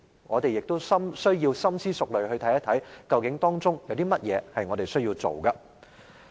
我們需要深思熟慮地看一看，究竟當中有甚麼是我們需要做的。